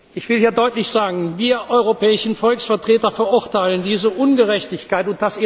Ich will hier deutlich sagen Wir europäischen Volksvertreter verurteilen diese Ungerechtigkeit.